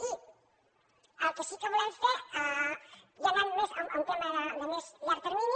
i el que sí que volem fer ja anant més a un tema de més llarg termini